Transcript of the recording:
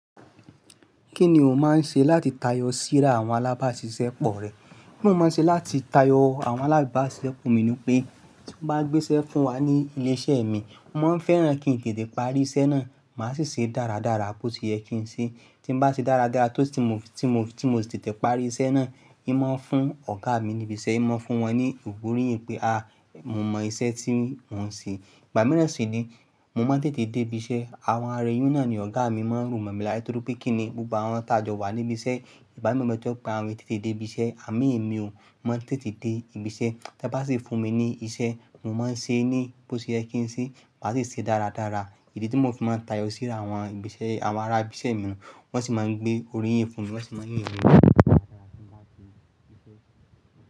Kí ni o máa ń ṣe láti tayọ síra àwọn alábáṣiṣẹ́ pọ̀ rẹ? Nti mo ṣe máa ń ṣe láti tayọ àwọn alábáṣiṣẹ́ pọ̀ mi ni pé tí wọ́n bá gbéṣẹ́ fún wa ní ilé iṣẹ́ mi, mo máa ń fẹ́ràn kí n tètè parí iṣẹ́ náà, máa sì ṣe dáradára bó ti yẹ kí n ṣe. Tí n bá ṣe dáradára tó si ti mo, tí mo, tí mo sì tètè parí iṣẹ́ náà, imọ̀ ń fún ọ̀gá mi níbi iṣẹ́, imọ̀ ń fún wọn ní ògo oriyin pé, à, mo mọ iṣẹ́ tí mò ń ṣe. Ìgba mira sì ní. Mo máa ń tètè dé ibi iṣẹ́. Àwọn ará èyí ùn náà ni ọ̀gá mi máa ń ro mo mọ̀ lára ni torí pé kí ni gbogbo awọn tajọ wa níbi iṣẹ́. Ìgbámi motó pé àwọn ènìyàn tètè dé ibi iṣẹ́, àmọ, èmi ò, mo máa ń tètè dé ibi iṣẹ́. Tẹ́ bá sì fún mi ní iṣẹ́, mo máa ń ṣe ẹ́ ní bó ti yẹ kí n ṣe, màá sì ṣe é dáradára. Idí tí mo fi máa ń tayọ síra àwọn ibi iṣẹ́, àwọn ará ibi iṣẹ́ nu. Wọ́n sì máa ń gbé oríyìn fún mi, wọ́n sì máa ń yìn mí dáradára.